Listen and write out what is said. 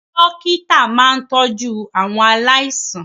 Dókítà máa ń tọ́jú àwọn aláìsàn